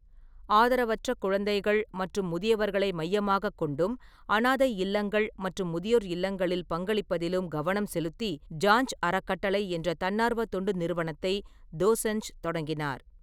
ஆதரவற்ற குழந்தைகள் மற்றும் முதியவர்களை மையமாகக் கொண்டும், அனாதை இல்லங்கள் மற்றும் முதியோர் இல்லங்களில் பங்களிப்பதிலும் கவனம் செலுத்தி சாஞ்ச் அறக்கட்டளை என்ற தன்னார்வ தொண்டு நிறுவனத்தை தோசன்ஜ் தொடங்கினார்.